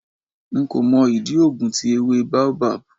Nko mo idi oogun ti ewe Baobab